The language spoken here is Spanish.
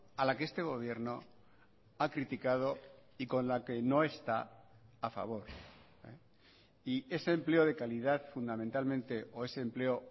a la que este gobierno ha criticado y con la que no está a favor y ese empleo de calidad fundamentalmente o ese empleo